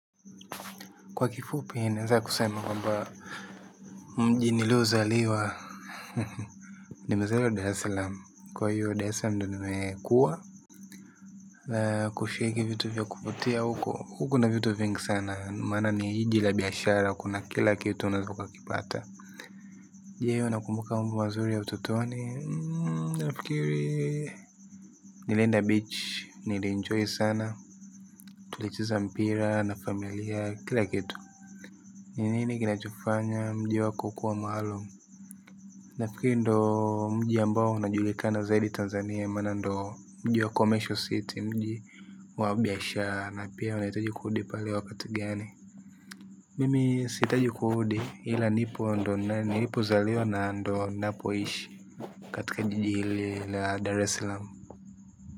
Kwa kifupi naweza kusema kamba mji nilo zaliwa. Nimezaliwa Dar es Salaam. Kwa hiyo Dar es Salaam ndiyo nimekua. Kushiriki vitu vya kupotea huko. Kuko na vitu vingi sana. Maana ni jiji la biashara. Kuna kila kitu unaweza ukapata. Je, unakumbuka mambo mazuri ya utotoni? Na fikiri. Nilenda beach. Nilenjoy sana. Tulicheza mpira na familia. Kila kitu. Ni nini kinachofanya mji wako kuwa maalum? Nafikiri ndiyo mji ambao unajulikana zaidi Tanzania maana ndiyo mji wa commercial city mji wabiashara na pia unahitaji kurudi pale wakati gani? Mimi si hitaji kurudi ila nipo, ndiyo nilipozaliwa na ndiyo ninapoishi katika jiji hili laa Dar es Salaam.